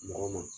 Mɔgɔ ma